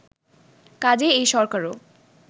কাজেই এই সরকারও